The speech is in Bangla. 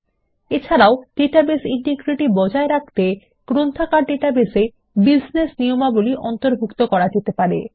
এছারাও ডাটাবেস ইন্টিগ্রিটি বজায় রাখতে গ্রন্থাগার ডাটাবেস এ বিজনেস নিয়মাবলী অন্তর্ভুক্ত করা যেতে পারে